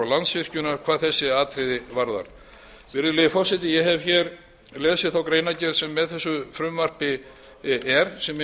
og landsvirkjunar hvað þessi atriði varðar virðulegi forseti ég hef hér lesið þá greinargerð sem með þessu frumvarpi er sem eins og ég segi er